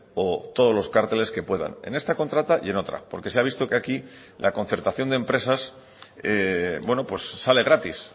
o todos los cárteles que puedan en esta contrata y en otra porque se ha visto que aquí la concertación de empresas sale gratis